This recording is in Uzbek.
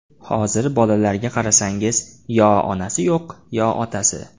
Hozir bolalarga qarasangiz, yo onasi yo‘q, yoki otasi.